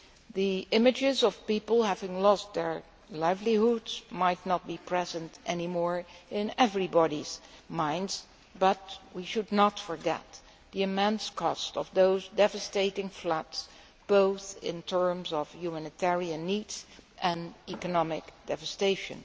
The images of people having lost their livelihoods might not be present any more in everyone's mind, but we should not forget the immense cost of those devastating floods, both in terms of humanitarian needs and economic devastation.